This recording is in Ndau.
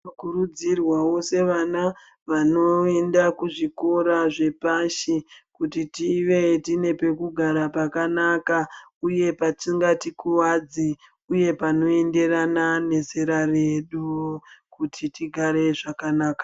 Tinokurudzirwawo sevana vanoenda kuzvikora zvepashi, kuti tive tine pekugara pakanaka, uye patingatikuvadzi, uye panoenderana nezera redu, kuti tigare zvakanaka.